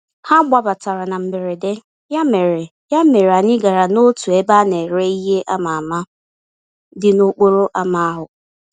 Ha gbabatara na mberede, ya mere ya mere anyị gara n'otu ebe a nere ìhè ama-ama, dị n'okporo ámá ahụ.